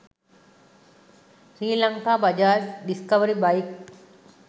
srilanka bajaj discovery bike